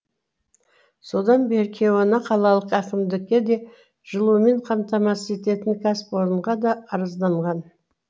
содан бері кейуана қалалық әкімдікке де жылумен қамтамасыз ететін кәсіпорынға да арызданған